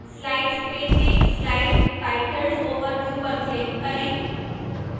slides pane में slide titled overview पर click करें